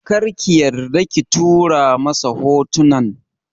Kar ki yarda ki tura masa hotunan!